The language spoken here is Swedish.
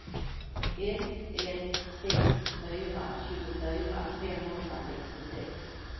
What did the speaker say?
ett ett sex fyra tjugofyra femhundrasextiosex